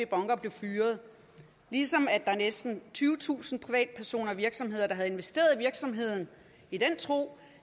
bunker blev fyret og næsten tyvetusind privatpersoner og virksomheder der havde investeret i virksomheden i den tro